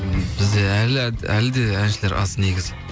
бізде әлі де әншілер аз негізі